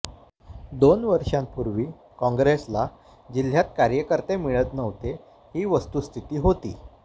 दोन वर्षांपूर्वी काँग्रेसला जिल्ह्यात कार्यकर्ते मिळत नव्हते ही वस्तुस्थिती होती